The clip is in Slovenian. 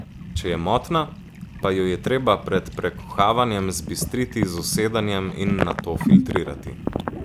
Če je motna, pa jo je treba pred prekuhavanjem zbistriti z usedanjem in nato filtrirati.